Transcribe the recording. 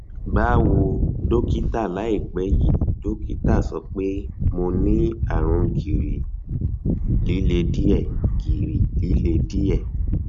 báwo dọkítà láìpẹ yìí dọkítà sọ pé mo ní àrùn gìrì líle díẹ gìrì líle díẹ